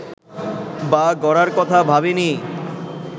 বা গড়ার কথা ভাবেনি